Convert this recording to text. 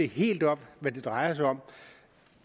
helt op hvad det drejer sig om